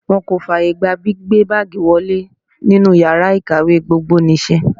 Wọ́n kò fààyè gba gbígbé báágìì wọlé nínú yàrá ìkàwé gbogbonìṣe.